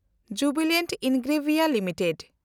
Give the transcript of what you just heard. Jubilant Ingrevia limited